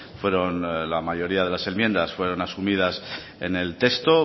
fueron la mayoría de las enmiendas fueron asumidas en el texto